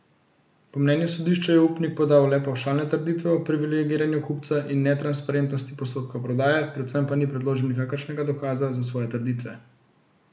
Po mnenju sodišča je upnik podal le pavšalne trditve o privilegiranju kupca in netransparentnosti postopka prodaje, predvsem pa ni predložil nikakršnega dokaza za svoje trditve.